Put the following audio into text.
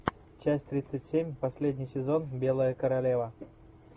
часть тридцать семь последний сезон белая королева